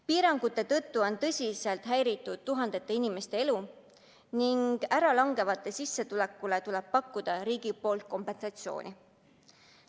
Piirangute tõttu on tõsiselt häiritud tuhandete inimeste elu ning ära langevat sissetulekut peab riik kompenseerima.